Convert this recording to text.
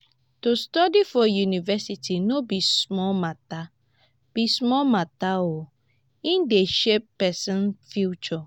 to study for university no be small mata be small mata o e dey shape pesin future.